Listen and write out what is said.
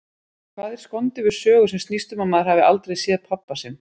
Hvað er skondið við sögu sem snýst um að maður hafi aldrei séð pabba sinn?